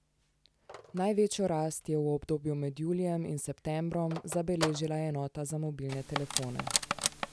Največjo rast je v obdobju med julijem in septembrom zabeležila enota za mobilne telefone.